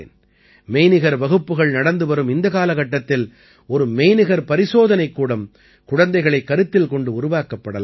மெய்நிகர் வகுப்புகள் நடந்து வரும் இந்த காலகட்டத்தில் ஒரு மெய்நிகர் பரிசோதனைகூடம் குழந்தைகளைக் கருத்தில் கொண்டு உருவாக்கப்படலாம்